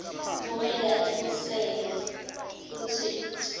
kumele acinisekise kutsi